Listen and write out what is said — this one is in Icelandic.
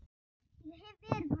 Ég hef verið honum vond.